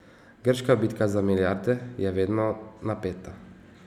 Grška bitka za milijarde je vedno napeta.